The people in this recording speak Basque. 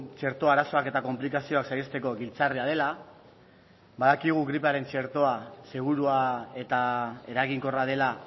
txertoa arazoak eta konplikazioak saihesteko giltzarria dela badakigu gripearen txertoa segurua eta eraginkorra dela